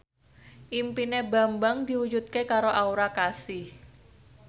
impine Bambang diwujudke karo Aura Kasih